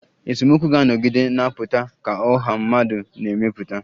Esemokwu ga-anọgide na-apụta ka ọha mmadụ na-emepụta